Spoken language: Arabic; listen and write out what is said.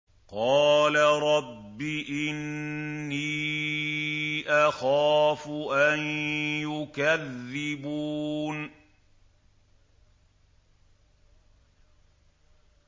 قَالَ رَبِّ إِنِّي أَخَافُ أَن يُكَذِّبُونِ